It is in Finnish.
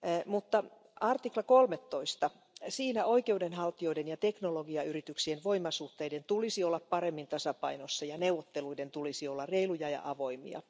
Mutta artiklassa 13 oikeudenhaltijoiden ja teknologiayrityksien voimasuhteiden tulisi olla paremmin tasapainossa ja neuvotteluiden tulisi olla reiluja ja avoimia.